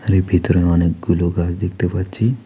এর ভিতরে অনেকগুলো গাছ দেখতে পাচ্ছি।